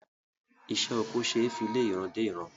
Isé oko ṣe fí lé ìran dé ìran